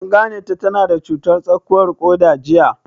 An gane ta na da cutar tsakuwar ƙoda jiya?